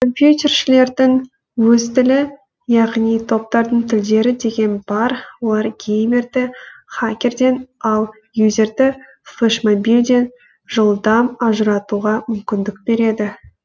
компьютершілердің өз тілі яғни топтардың тілдері деген бар олар геймерді хакерден ал юзерді флешмобилден жылдам ажыратуға мүмкіндік береді